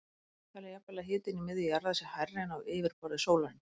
Menn telja jafnvel að hitinn í miðju jarðar sé hærri en á yfirborði sólarinnar.